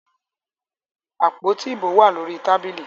Àpótí ìbò wà lórí tábìlì.